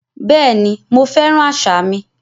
Bẹ́ẹ̀ni, mo fẹ́ràn àṣà mi